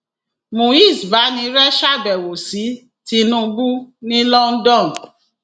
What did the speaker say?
muiz banire ṣàbẹwò sí tinubu ní london